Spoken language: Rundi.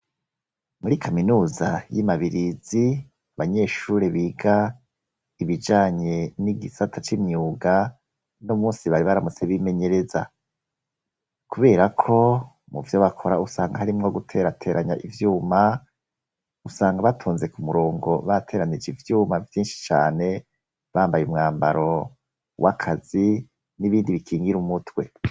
Muri kaminuza y'imabirizi, abanyeshuri biga ibijanye n'igisata c'imyuga n'umunsi bari baramutse bimenyereza, kubera ko muvyo bakora usanga hari mwo guterateranya ivyuma ,usanga batunze ku murongo bateranije ivyuma vyinshi cane ,bambaye umwambaro w'akazi n'ibindi bikingira umutwe.